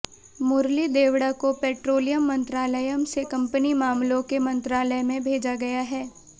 मुरली देवड़ा को पेट्रोलियम मंत्रालयम से कंपनी मामलों के मंत्रालय में भेजा गया है